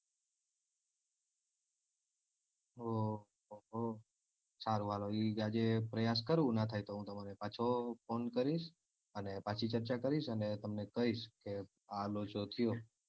હો હો હો સારું હાલો એ આજે પ્રયાસ કરું ના થાય તો હું તમોને પાછો phone કરીશ અને પાછી ચર્ચા કરીશ અને તમને કૈશ કે આ લોચો થયો.